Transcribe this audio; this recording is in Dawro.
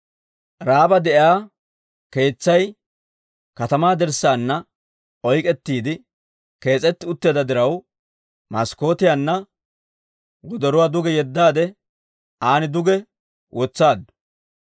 Ra'aaba de'iyaa keetsay katamaa dirssaana oyk'k'etiide kees'etti utteedda diraw, maskkootiyaanna wodoruwaa duge yeddaade, an duge wotsaaddu.